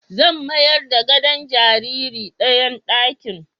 Zan mayar da gadon jariri dayan ɗakin